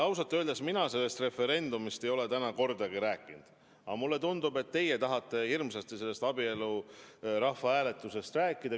Ausalt öeldes mina ei ole sellest referendumist täna kordagi rääkinud, aga mulle tundub, et teie tahate hirmsasti sellest abieluteemalisest rahvahääletusest rääkida.